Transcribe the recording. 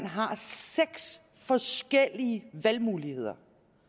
har seks forskellige valgmuligheder